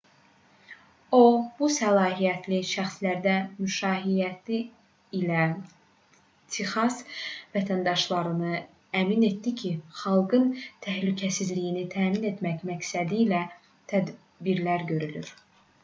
o bu səlahiyyətli şəxslərin müşayiəti ilə texas vətəndaşlarını əmin etdi ki xalqın təhlükəsizliyini təmin etmək məqsədilə tədbirlər görülür